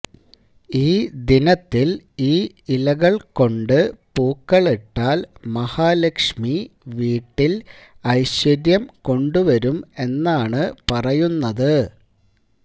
ഈ ദിനത്തില് ഈ ഇലകള് കൊണ്ട് പൂക്കളിട്ടാല് മഹാലക്ഷ്മി വീട്ടില് ഐശ്വര്യം കൊണ്ട് വരും എന്നാണ് പറയുന്നത്